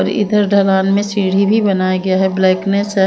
इधर ढलान में सीढ़ी भी बनाया गया है ब्लैकनेस्स है।